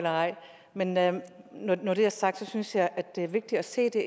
men når det er sagt synes jeg at det er vigtigt at se det